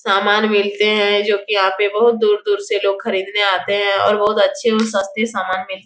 समान मिलते हैं जो की यहाँ पे बहुत दूर-दूर से लोग खरीदने आते हैं और बहुत अच्छे और सस्ते समान मिल --